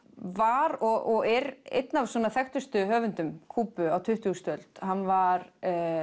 var og er einn af þekktustu höfundum Kúbu á tuttugustu öld hann var